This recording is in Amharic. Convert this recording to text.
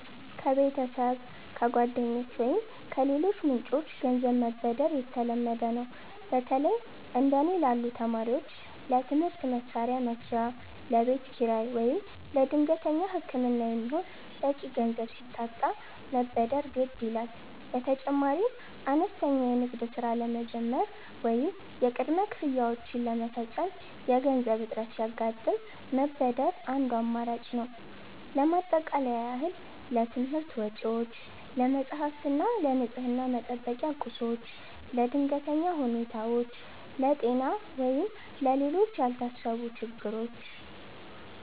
ከቤተሰብ፣ ከጓደኞች ወይም ከሌሎች ምንጮች ገንዘብ መበደር የተለመደ ነው። በተለይ እንደ እኔ ላሉ ተማሪዎች ለትምህርት መሣሪያ መግዣ፣ ለቤት ኪራይ ወይም ለድንገተኛ ሕክምና የሚሆን በቂ ገንዘብ ሲታጣ መበደር ግድ ይላል። በተጨማሪም አነስተኛ የንግድ ሥራ ለመጀመር ወይም የቅድመ ክፍያዎችን ለመፈጸም የገንዘብ እጥረት ሲያጋጥም መበደር አንዱ አማራጭ ነው። ለማጠቃለያ ያህል: ለትምህርት ወጪዎች፦ ለመጻሕፍት እና ለንፅህና መጠበቂያ ቁሶች። ለድንገተኛ ሁኔታዎች፦ ለጤና ወይም ለሌሎች ያልታሰቡ ችግሮች።